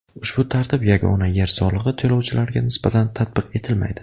Ushbu tartib yagona yer solig‘i to‘lovchilariga nisbatan tatbiq etilmaydi.